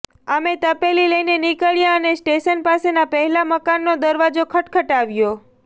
અમે તપેલી લઈને નીક્ળ્યા અને સ્ટેશન પાસેના પહેલા મકાનનો દરવાજો ખટખટાવ્યો